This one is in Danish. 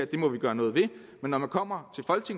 det må vi gøre noget ved men når man kommer